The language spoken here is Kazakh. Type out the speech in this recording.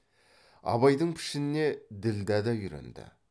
абайдың пішініне ділдә да үйренді